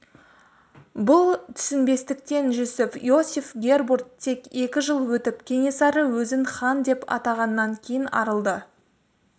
бұл түсінбестіктен жүсіп-иосиф гербурт тек екі жыл өтіп кенесары өзін хан деп атағаннан кейін арылды